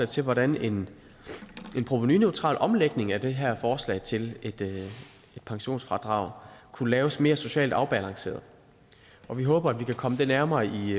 til hvordan en provenuneutral omlægning af det her forslag til et pensionsfradrag kunne laves mere socialt afbalanceret vi håber at vi kan komme det nærmere i